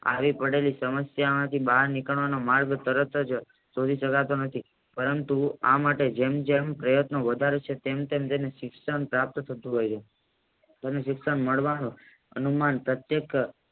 આવી પડેલી સમસ્યામાંથી બાહ્ય નીકરવાનો માર્ગ તરતજ શોધી શકતો નથી પરંતુ આ માટે જેમ જેમ પ્રયાન્તો વધારે છે તેમ તેમ તેને શિક્ષણ પ્રાપ્ત થતું જાય છે તેને શિક્ષણ મળવાનું અનુમાન પ્રત્યેક્ષ